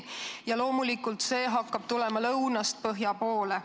Ja loomulikult see hakkab tulema lõunast põhja poole.